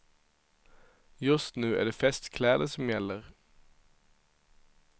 Just nu är det festkläder som gäller.